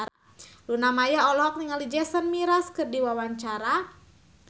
Luna Maya olohok ningali Jason Mraz keur diwawancara